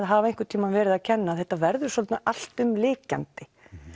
hafa einhvern tímann verið að kenna þetta verður svo alltumlykjandi